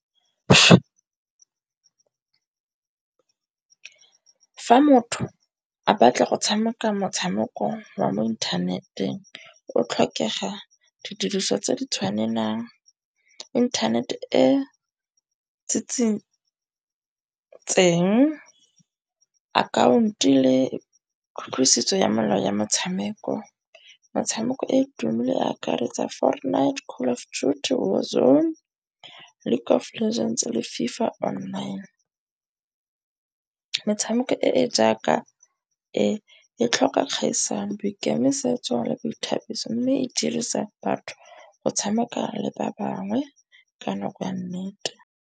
Fa motho a batla go tshameka motshameko wa mo inthaneteng o tlhokega didiriso tse di tshwanelang, internet e akhaonto le kutlwisiso ya melao ya metshameko. Metshameko e e akaretsa fortnight, call of duty war zone le FIFA online. Metshameko e e jaaka e e tlhoka kgaisano, boikemisetso le boithabiso. Mme e dirisa batho go tshameka le ba bangwe ka nako ya nnete.